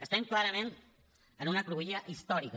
estem clarament en una cruïlla històrica